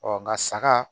Ɔ nka saga